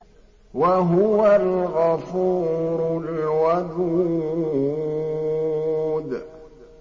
وَهُوَ الْغَفُورُ الْوَدُودُ